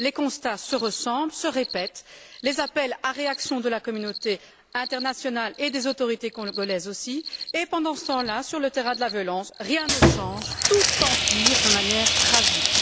Les constats se ressemblent, se répètent, les appels à la réaction de la communauté internationale et des autorités congolaises aussi, et pendant ce temps là, sur le terrain de la violence, rien ne change, tout empire de manière tragique.